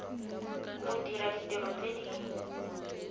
go dira ditiro tse di